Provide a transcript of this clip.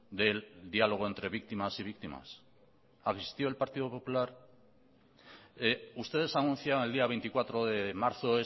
del diálogo entre víctimas y víctimas asistió el partido popular ustedes anuncian el día veinticuatro de marzo